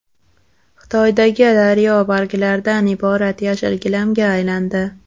Xitoydagi daryo barglardan iborat yashil gilamga aylandi .